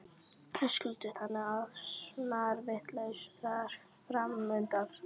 Höskuldur: Þannig að snarvitlaust veður framundan?